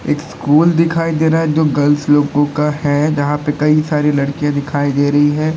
एक स्कूल दिखाई दे रहा है जो गर्ल्स लोगों का है। जहां पर कई सारी लड़कियां दिखाई दे रही है।